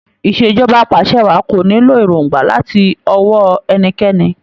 Ìṣèjọba apàṣẹwàá kò nílò èròngbà láti ọwó ẹnikẹ́ni.